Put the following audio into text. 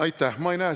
Aitäh!